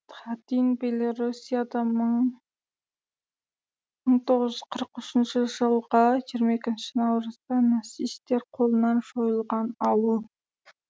хатынь белоруссияда мың тоғыз жүз қырық үшінші жылғы жиырма екінші наурызда нацисттер қолынан жойылған ауыл